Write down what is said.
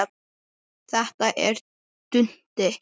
Þetta er Dundi!